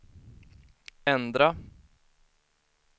ändra